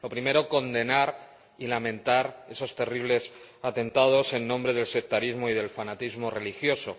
Lo primero, condenar y lamentar esos terribles atentados en nombre del sectarismo y del fanatismo religioso.